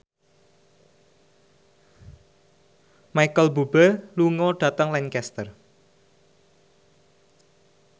Micheal Bubble lunga dhateng Lancaster